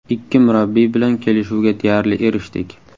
Ikki murabbiy bilan kelishuvga deyarli erishdik.